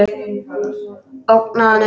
Ógna honum.